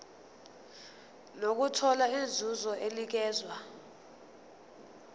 nokuthola inzuzo enikezwa